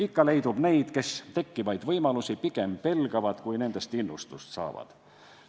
Ikka leidub neid, kes tekkivaid võimalusi pigem pelgavad, kui nendest innustust saavad.